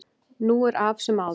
Nú er af sem áður var